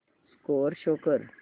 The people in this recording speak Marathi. स्कोअर शो कर